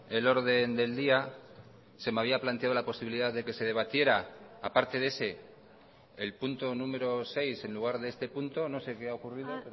el orden del día se me había planteado la posibilidad de que se debatiera aparte de ese el punto número seis en lugar de este punto no sé qué ha ocurrido